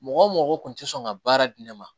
Mɔgɔ mɔgɔ kun ti sɔn ka baara di ne ma